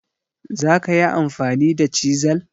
zakayi amfani da chisel?